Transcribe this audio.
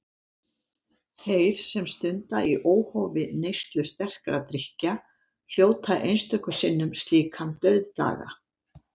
Þeir, sem stunda í óhófi neyslu sterkra drykkja, hljóta einstöku sinnum slíkan dauðdaga.